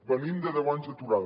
venim de deu anys d’aturada